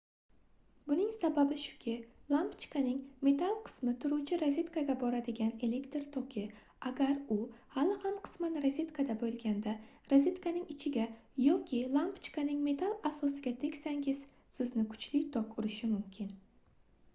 buning sababi shuki lampochkaning metall qismi turuvchi rozetkaga boradigan elektr toki agar u hali ham qisman rozetkada boʻlganda rozetkaning ichiga yoki lampochkaning metall asosiga tegsangiz sizni kuchli tok urishi mumkin